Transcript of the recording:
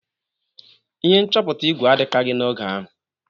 Ihe nchọpụta igwe adịkaghị n'oge ahụ.